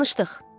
Danışdıq.